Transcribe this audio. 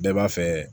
Bɛɛ b'a fɛ